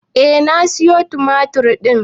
Eh na sayo tumatir ɗin.